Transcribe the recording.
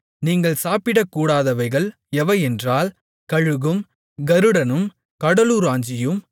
நீங்கள் சாப்பிடக்கூடாதவைகள் எவையென்றால் கழுகும் கருடனும் கடலுராஞ்சியும்